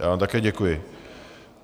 Já vám také děkuji.